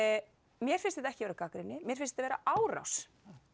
mér finnst þetta ekki vera gagnrýni mér finnst vera árás